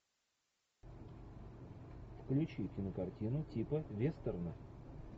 включи кинокартину типа вестерна